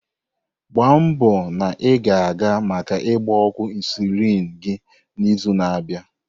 Gbaa nbo na ị ga-aga maka ịgba ọgwụ insulin gị n'izu na-abịa.